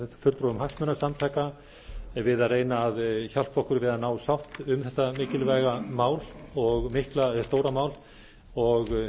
fulltrúum hagsmunasamtaka við að reyna að hjálpa okkur við að ná sátt um þetta mikilvæga mál og mikla eða stóra mál að